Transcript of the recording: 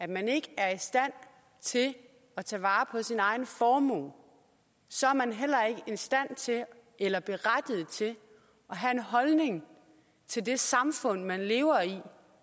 man ikke er i stand til at tage vare på sin egen formue så er man heller ikke stand til eller berettiget til at have en holdning til det samfund man lever og